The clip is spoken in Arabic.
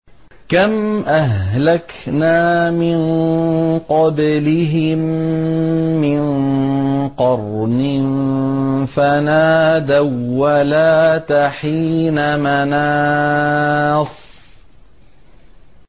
كَمْ أَهْلَكْنَا مِن قَبْلِهِم مِّن قَرْنٍ فَنَادَوا وَّلَاتَ حِينَ مَنَاصٍ